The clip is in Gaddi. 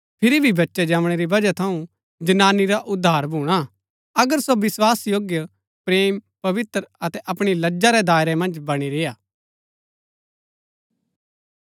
फिरी भी बच्चै जमणै री बजहा थऊँ जनानी रा उद्धार भूणा अगर सो विस्वासयोग्य प्रेम पवित्र अतै अपणी लज्जा रै दायरै मन्ज बणी रेय्आ